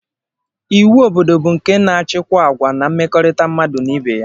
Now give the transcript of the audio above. Iwu obodo bụ nke na-achịkwa agwa na mmekọrịta mmadụ na ibe ya